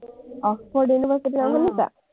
Oxforduniversity ৰ নাম শুনিছা?